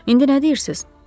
İndi nə deyirsiz?